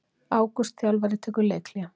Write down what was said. Ágúst þjálfari tekur leikhlé